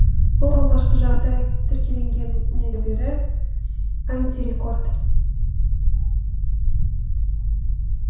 бұл алғашқы жағдай тіркелгеннен бергі антирекорд